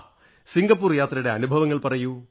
Singapore യാത്രയുടെ അനുഭവങ്ങൾ പറയൂ